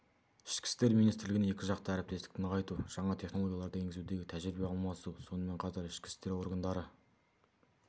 ішкі істер министрлігіне екіжақты әріптестікті нығайту жаңа технологияларды енгізудегі тәжірибе алмасу сонымен қатар ішкі істер органдары